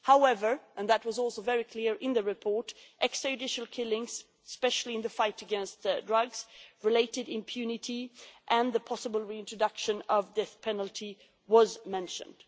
However and this was also very clear in the report extra judicial killings, especially in the fight against drugs related impunity, and the possible reintroduction of the death penalty were mentioned.